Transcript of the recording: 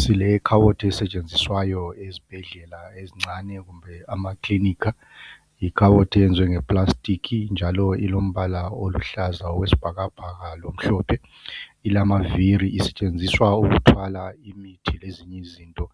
Silekhabothi esetshenziswayo ezibhedlela ezincane kumbe emakilinika. Likhabothi yenziwe ngepulasitikhi njalo Ilombala oluhlaza oyisibhakabhaka lomhlophe. Ilamavili njalo isetshenziswa ukuthwala imithi lezinye izinto